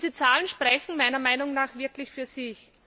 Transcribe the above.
Diese Zahlen sprechen meiner Meinung nach wirklich für sich.